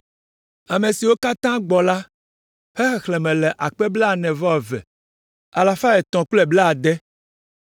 Ame siwo katã gbɔ la ƒe xexlẽme le akpe blaene-vɔ-eve alafa etɔ̃ kple blaade (42,360).